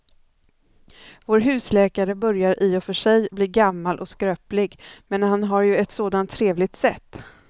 Vår husläkare börjar i och för sig bli gammal och skröplig, men han har ju ett sådant trevligt sätt!